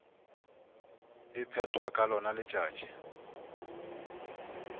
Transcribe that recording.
e phethwa ka lona letšatši